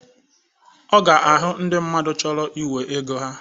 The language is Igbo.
Ọ ga ahụ ndị mmadụ chọrọ iwe ego ha.